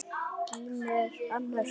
Gínu er annars vegar.